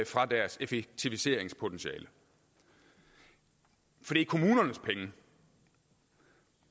fra deres effektiviseringspotentiale for det er kommunernes penge